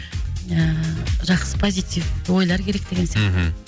ііі жақсы позитив ойлар керек деген сияқты мхм